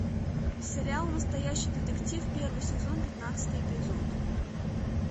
сериал настоящий детектив первый сезон пятнадцатый эпизод